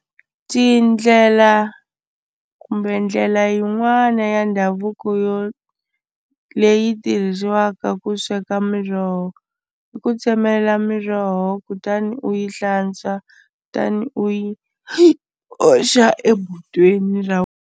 Tindlela kumbe ndlela yin'wana ya ndhavuko yo leyi tirhisiwaka ku sweka miroho i ku tsemelela miroho kutani u yi hlantswa tani u yi oxa ebodweni ra.